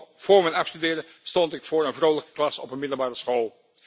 Nog vóór mijn afstuderen stond ik voor een vrolijke klas op een middelbare school.